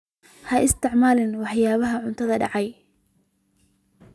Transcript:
Ha isticmaalin waxyaabaha caanaha dhacay.